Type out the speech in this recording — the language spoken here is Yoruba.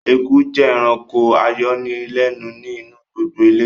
Eku jẹ́ ẹranko ayọnilẹ́nu ni inu gbogbo ilé